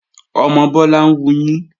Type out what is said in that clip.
Ọmọ Bọ́lá ń wuyín